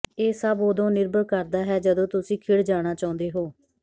ਇਹ ਸਭ ਉਦੋਂ ਨਿਰਭਰ ਕਰਦਾ ਹੈ ਜਦੋਂ ਤੁਸੀਂ ਖਿੜ ਜਾਣਾ ਚਾਹੁੰਦੇ ਹੋ